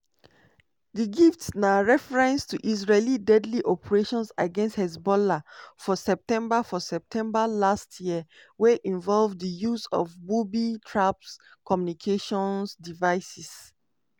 di gift na reference to israel deadly operation against hezbollah for september for september last year wey involve di use of booby-trapped communications devices.